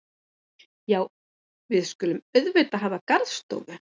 Já, við skulum auðvitað hafa garðstofu.